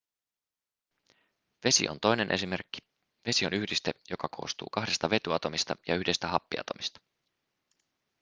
vesi on toinen esimerkki vesi on yhdiste joka koostuu kahdesta vetyatomista ja yhdestä happiatomista